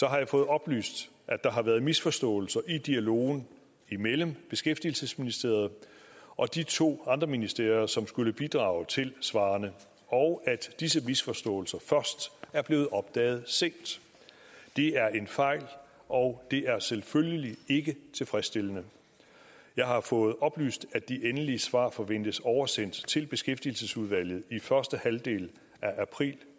jeg fået oplyst at der har været misforståelser i dialogen imellem beskæftigelsesministeriet og de to andre ministerier som skulle bidrage til svarene og at disse misforståelser først er blevet opdaget sent det er en fejl og det er selvfølgelig ikke tilfredsstilende jeg har fået oplyst at de endelige svar forventes oversendt til beskæftigelsesudvalget i første halvdel af april